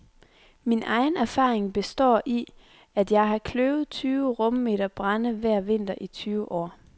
Min egen erfaring består i, at jeg har kløvet tyve rummeter brænde hver vinter i tyve år.